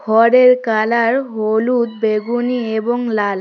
ঘরের কালার হলুদ বেগুনি এবং লাল।